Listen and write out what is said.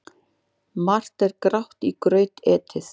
Margt er grátt í graut etið.